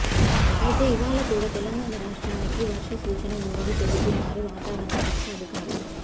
అయితే ఇవాళ కూడా తెలంగాణ రాష్ట్రానికి వర్ష సూచన ఉందని చెబుతున్నారు వాతావరణ శాఖ అధికారులు